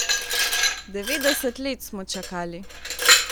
Devetdeset let smo čakali.